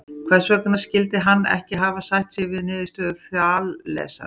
Hvers vegna skyldi hann ekki hafa sætt sig við niðurstöðu Þalesar?